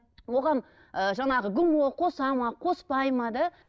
оған жаңағы гмо қосады ма қоспайды ма да